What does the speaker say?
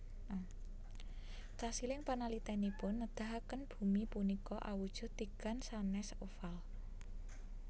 Kasiling panalitènipun nedahaken bumi punika awujud tigan sanès oval